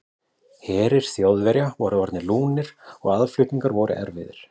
Herir Þjóðverja voru orðnir lúnir og aðflutningar voru erfiðir.